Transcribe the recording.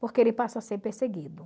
Porque ele passa a ser perseguido.